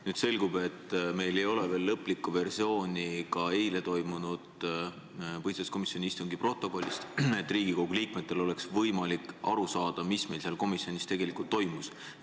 Nüüd selgub, et meil ei ole veel lõplikku versiooni eile toimunud põhiseaduskomisjoni istungi protokollist, et Riigikogu liikmetel oleks võimalik aru saada, mis meil seal komisjonis tegelikult toimus.